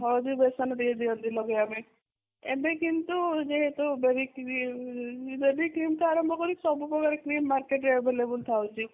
ହଳଦୀ ବେସନ ବି ଦିଅନ୍ତି ଲଗେଇବା ପାଇଁ ଏବେ କିନ୍ତୁ ଯେହେତୁ ଡ଼ରିକି ବି ଉଁ ଯଦି cream ଆରମ୍ଭ କରିବି ସବୁ ପ୍ରକାର cream market ରେ available ରହୁଛି